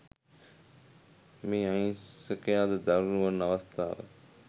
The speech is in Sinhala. මේ අහිංසකයාද දරුණු වන අවස්ථා